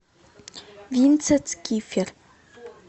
винценц кифер